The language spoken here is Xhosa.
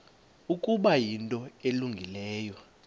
ukuba yinto elungileyo